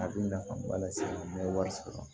A bɛ nafaba lase n bɛ wari sɔrɔ